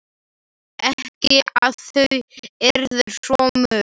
Ekki að þau yrðu svo mörg.